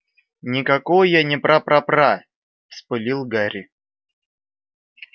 никакой я не пра пра пра вспылил гарри